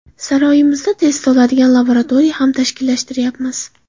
Saroyimizda test oladigan laboratoriya ham tashkillashtiryapmiz.